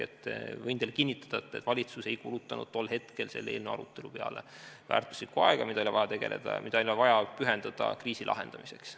Võin teile kinnitada, et valitsus ei kulutanud tol hetkel selle eelnõu arutamise peale väärtuslikku aega, mida oli vaja pühendada kriisi lahendamisele.